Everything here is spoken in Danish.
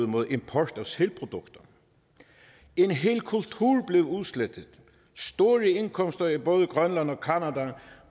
mod import af sælprodukter en hel kultur blev udslettet og store indkomster i både grønland og canada